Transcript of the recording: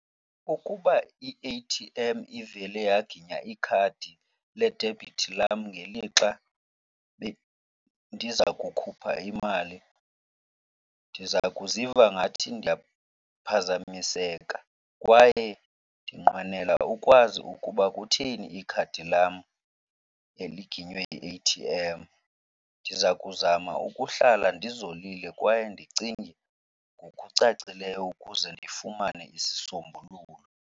Ukuba i-A_T_M ivele yaginya ikhadi ledebhithi lam ngelixa bendiza kukhupha imali, ndiza kuziva ngathi ndiyaphazamiseka kwaye ndinqwenela ukwazi ukuba kutheni ikhadi lam eli liginywe yi-A_T_M. Ndiza kuzama ukuhlala ndizolile kwaye ndicinge ngokucacileyo ukuze ndifumane isisombululo.